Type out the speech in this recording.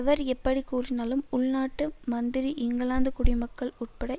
அவர் எப்படி கூறினாலும் உள்நாட்டு மந்திரி இங்கிலாந்துக் குடிமக்கள் உட்பட